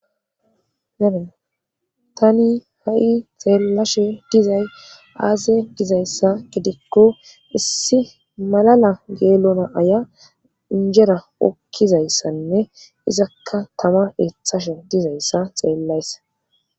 hee tani ha7i xeellashe dizay aase dizayssa gidikko issi malala geelona aya injera okkizayssanne izakka tama eethashe dizayssa xeellayssa